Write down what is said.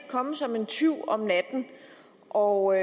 komme som en tyv om natten og